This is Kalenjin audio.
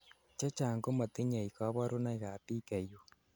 chechang komotinyei kaborunoik ab PKU